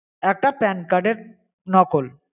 একটা pan card এর নকল।